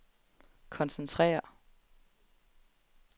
koncentrere